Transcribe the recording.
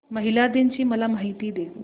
महिला दिन ची मला माहिती दे